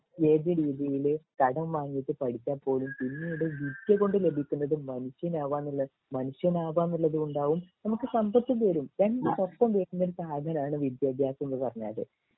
നമ്മൾ ഏത് രീതിയില് കടം വാങ്ങിട്ട് പഠിച്ചാ പോലും പിന്നീട് വിദ്യ കൊണ്ട് ലഭിക്കുന്നത് മനുഷ്യനാവാനുള്ള മനുഷ്യനാവാ എന്നുള്ളതുകൊണ്ടാവും നമുക്ക് സമ്പത്ത് പോരും രണ്ട് വർഷം കഴിഞ്ഞുകഴിഞ്ഞാൽ അതിനാണ് വിദ്യഭ്യാസം എന്ന് പറഞ്ഞാല്